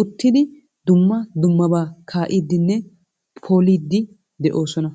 uttidi dumma dummaba kaa'iiddinne poliiddi de'oosona.